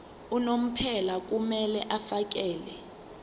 unomphela kumele afakele